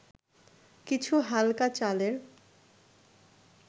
কিছু হালকা চালের’